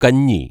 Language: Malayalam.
കഞ്ഞി